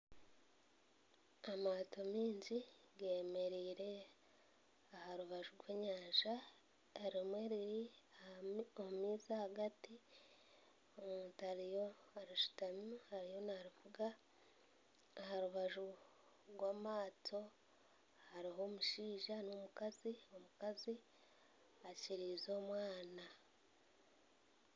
Amaato maingi gemereire aha rubaju rw'enyanja erimwe riri omu maizi ahagati omuntu arishutamireho ariyo navuga aha rubaju rw'amaato hariho omushaija n'omukazi, omukazi akiriize omwana